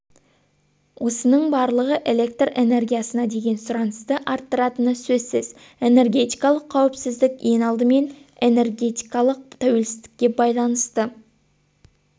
осының барлығы электр энергиясына деген сұранысты арттыратыны сөзсіз энергетикалық қауіпсіздік ең алдымен энергетикалық тәуелсіздікке байланысты